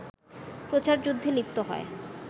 প্রচারযুদ্ধে লিপ্ত হয়